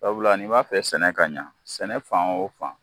Sabula ni b'a fɛ sɛnɛ ka ɲa sɛnɛ fan o fan